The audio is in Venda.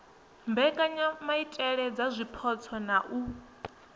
mbekanyamaitele dza zwipotso na u